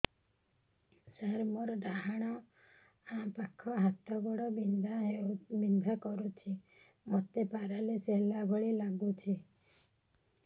ସାର ମୋର ଡାହାଣ ପାଖ ହାତ ଗୋଡ଼ ବିନ୍ଧା କରୁଛି ମୋତେ ପେରାଲିଶିଶ ହେଲା ଭଳି ଲାଗୁଛି